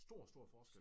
Stor stor forskel